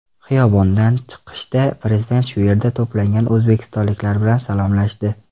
Xiyobondan chiqishda Prezident shu yerda to‘plangan o‘zbekistonliklar bilan salomlashdi .